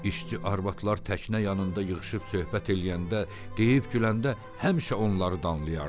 İşçi arvadlar təkinə yanında yığışıb söhbət eləyəndə, deyib güləndə həmişə onları danlayırdı.